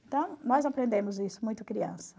Então, nós aprendemos isso muito criança.